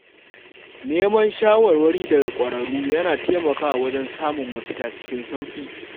Neman shawarwari daga ƙwararru yana taimakawa wajen samun mafita cikin sauƙi.